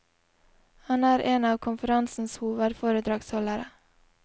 Han er en av konferansens hovedforedragsholdere.